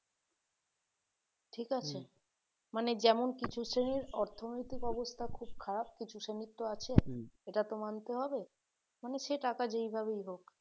ঠিক মানে যেমন কিছু শ্রেণীর অর্থনৈতিক অবস্থা খুব খারাপ কিছু শ্রেণীর তো আছে সেটা তো মানতে হবে মানে সে টাকা যেভাবেই হোক